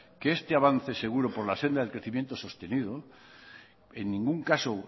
que este avance seguro por la senda del crecimiento sostenido en ningún caso